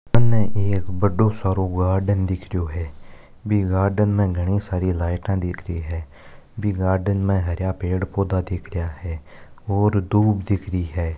मने एक बड़ो सारों गार्डन दिख रहियो है वे गार्डन में गनी सारी लाईट दिख रही है बी गार्डन में हरा पेड़ पौधा दिख रहिया है और धुप दिख रही है।